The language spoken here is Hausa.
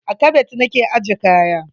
A kabad na ke ajje kaya.